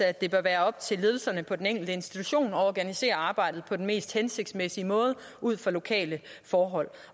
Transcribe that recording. at det bør være op til ledelserne på den enkelte institution at organisere arbejdet på den mest hensigtsmæssige måde ud fra lokale forhold